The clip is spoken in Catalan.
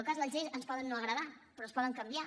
el cas és que les lleis ens poden no agradar però es poden canviar